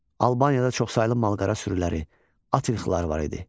Albaniyada çoxsaylı malqara sürüləri, at ilxıları var idi.